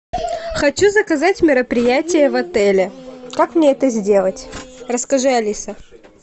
хочу заказать мероприятие в отеле как мне это сделать расскажи алиса